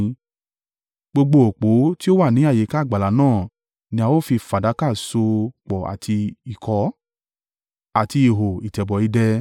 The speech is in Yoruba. Gbogbo òpó ti ó wà ní àyíká àgbàlá náà ni a ó fi fàdákà ṣo pọ̀ àti ìkọ́, àti ihò ìtẹ̀bọ̀ idẹ.